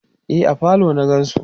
e a falo na gansu